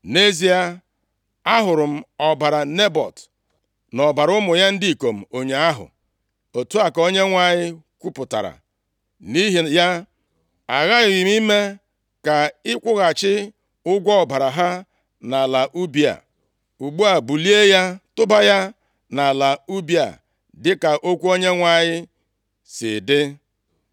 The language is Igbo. ‘Nʼezie, ahụrụ m ọbara Nebọt na ọbara ụmụ ya ndị ikom ụnyaahụ, otu a ka Onyenwe anyị kwupụtara, nʼihi ya, aghaghị m ime ka ị kwụghachi ụgwọ ọbara ha nʼala ubi a.’ Ugbu a, bulie ya tụba ya nʼala ubi a dị ka okwu Onyenwe anyị si dị.”